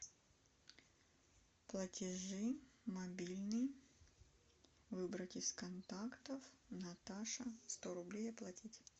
платежи мобильный выбрать из контактов наташа сто рублей оплатить